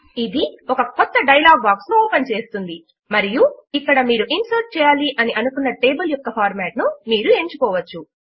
ఇది ఒక క్రొత్త డయలాగ్ బాక్స్ ను ఓపెన్ చేస్తుంది మరియు ఇక్కడ మీరు ఇన్సర్ట్ చేయాలి అని అనుకున్న టేబుల్ యొక్క ఫార్మాట్ ను మీరు ఎంచుకోవచ్చు